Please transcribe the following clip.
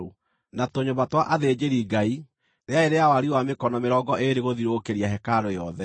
na tũnyũmba twa athĩnjĩri-Ngai rĩarĩ rĩa wariĩ wa mĩkono mĩrongo ĩĩrĩ gũthiũrũrũkĩria hekarũ yothe.